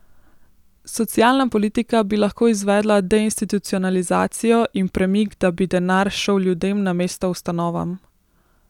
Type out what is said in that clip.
Socialna politika bi lahko izvedla deinstitucionalizacijo in premik, da bi denar šel ljudem namesto ustanovam.